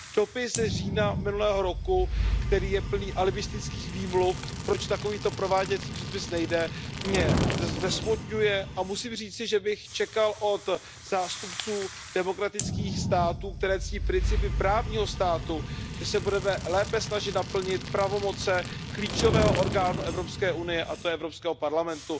Dopis z října minulého roku, který je plný alibistických výmluv, proč takovýto prováděcí předpis nejde, mě rozesmutňuje a musím říci, že bych čekal od zástupců demokratických států, které ctí principy právního státu, že se budou lépe snažit naplnit pravomoci klíčového orgánu Evropské unie, a tím je Evropský parlament.